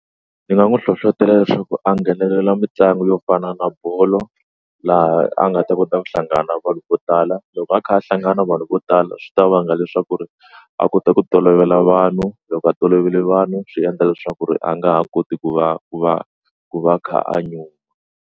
Ndzi nga n'wi hlohlotelo leswaku a nghenelela mitlangu yo fana na bolo laha a nga ta kota ku hlangana vanhu vo tala loko a kha a hlangana vanhu vo tala swi ta vanga leswaku ri a kota ku tolovela vanhu loko a tolovele vanhu swi endla leswaku ri a nga ha koti ku va ku va ku va a kha a nyumi.